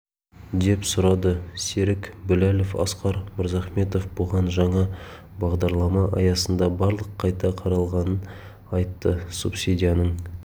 деп сұрады серік біләлов асқар мырзахметов бұған жаңа бағдарлама аясында барлық қайта қаралғанын айтты субсидияның